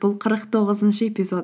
бұл қырық тоғызыншы эпизод